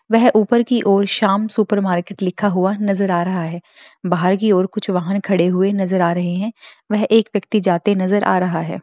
व ऊपर की ओर शाम सुपर मार्केट लिखा हुआ नज़र आ रहा है बाहर की ओर कुछ वाहन खड़े हुए नज़र आ रहे हैं व एक व्यक्ति जाते नज़र आ रहा है।